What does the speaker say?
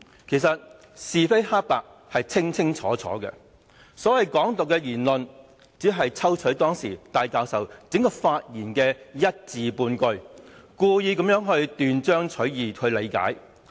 其實，是非黑白是清清楚楚的，所謂"港獨"的言論，只是有人抽取當時戴教授整段發言中的一字半句，故意斷章取義地理解。